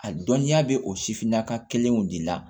A dɔnniya bɛ o sifinnaka kelenw de la